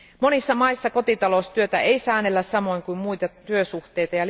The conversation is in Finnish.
Monissa maissa kotitaloustyötä ei säännellä samoin kuin muita työsuhteita.